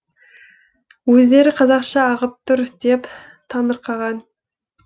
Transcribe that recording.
өздері қазақша ағып тұр деп таңырқаған